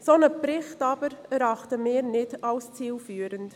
Einen solchen Bericht erachten wir nicht als zielführend.